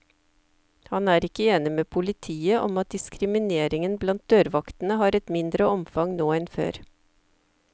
Han er ikke enig med politiet om at diskrimineringen blant dørvaktene har et mindre omfang nå enn før.